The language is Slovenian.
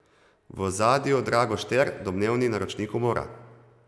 V ozadju Drago Šter, domnevni naročnik umora.